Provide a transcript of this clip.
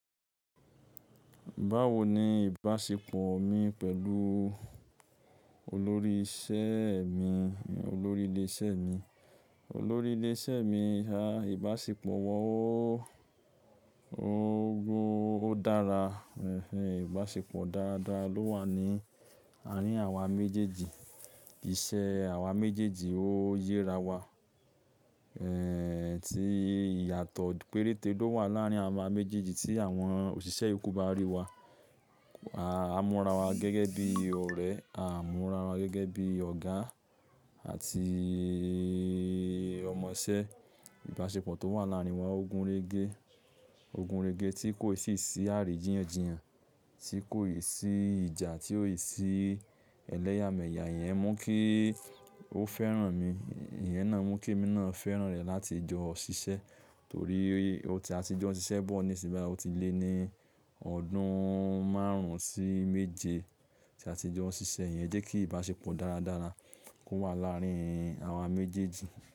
Báwo ni ìbáṣepọ̀ mi pẹ̀lú olórí isẹ́ mi, olórí ilé iṣẹ́ mi? Olórí ilé iṣẹ́ mi, a ìbáṣepọ̀ wa ó, ó gun, ó dára. Ẹ̀hẹ̀n ìbáṣepọ̀ dáadáa ló wà ní àárín àwa méjèèjì. Iṣẹ́ àwa méjèèjì ó yera wa. Ẹ̀hẹ̀n tí ìyàtọ̀ péréte ló wà láàárín àwa méjèèjì tí àwọn òṣìṣẹ́ yòókù bá rí wa. A múra wa gẹ́gẹ́ bí ọ̀rẹ́, a múra wa gẹ́gẹ́ bí ọ̀gá àti ọmọṣẹ́. Ìbáṣepọ̀ tó wà láàárín wa ogun réé gẹ, ogun réé ge tí kò ì sì sí àríjíyànjiyàn, tí kò ì sí ìjà, tí ò ì sí ẹlẹ́yàmẹ̀yà. Ìyẹn mú kí ó fẹ́ràn mi, ìyẹn náà mú kí èmi náà fẹ́ràn rẹ̀ láti jọ ṣiṣẹ́. Torí ó ti a ti jọ ṣiṣẹ́ bọ̀ ní yi, ó ti lé ní ọdún márùn-ún sí méje tí a ti jọ ń ṣiṣẹ́. Ìyẹn jẹ́ kí ìbáṣepọ̀ dáadáa kó wà láàárín àwa méjèèjì.